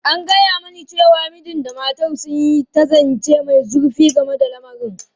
An gaya mani cewa mijin da matar sun yi ta zance mai zurfi game da lamarin.